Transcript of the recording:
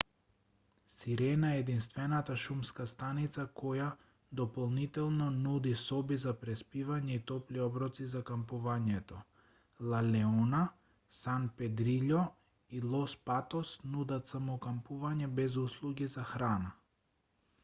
сирена е единствената шумска станица која дополнително нуди соби за преспивање и топли оброци за кампувањето ла леона сан педрилјо и лос патос нудат само кампување без услуги за храна